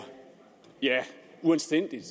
uanstændigt